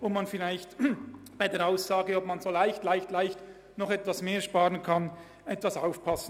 Deshalb sollte man vielleicht mit der Aussage, man könne ganz leicht ein bisschen mehr sparen, vorsichtig sein.